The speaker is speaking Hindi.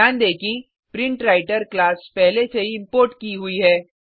ध्यान दें कि प्रिंटवृतर क्लास पहले से ही इम्पोर्ट की हुई है